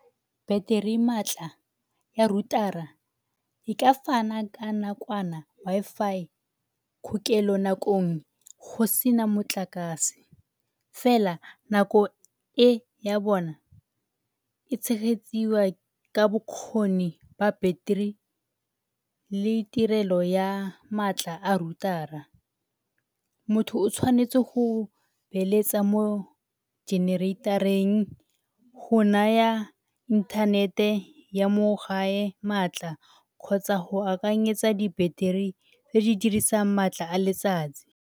Battery maatla ya router-a e ka fana ka nakwana Wi-Fi kgokelo nakong go se na motlakase fela nako e ya bona e tshegetsiwa ka bokgoni ba battery le tirelo ya maatla a router-a. Motho o tshwanetse go beeletsa mo generator-eng go naya inthanete ya mo gae maatla kgotsa go akanyetsa di-battery tse di dirisang maatla a letsatsi.